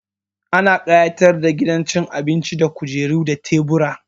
Ana ƙayatar da gidan cin abinci da kujeru da tebura.